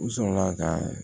U sɔrɔla ka